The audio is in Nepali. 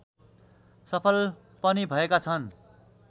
सफल पनि भएका छन्